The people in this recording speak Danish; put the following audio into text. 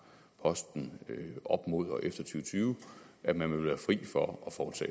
posten op mod og efter to tyve at man vil være fri for